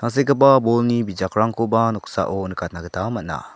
tangsekgipa bolni bijakrangkoba noksao nikatna gita man·a.